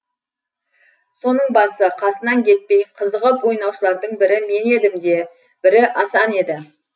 соның басы қасынан кетпей қызығып ойнаушылардың бірі мен едім де бірі асан еді